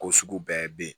Ko sugu bɛɛ bɛ yen